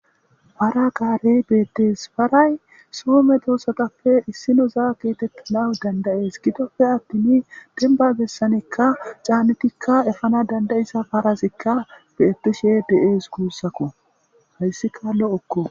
Para garey betees.paray soo medosatappe issinoza getetanas danda'es.gidoppe attin demba bessanikka canidikka efana danda'iza parazikka bettishshe de'ese guusako. Hayssikka lo'okko.